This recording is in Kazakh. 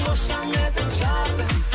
қошаметің жарқын